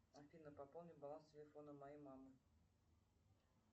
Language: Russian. афина пополни баланс телефона моей мамы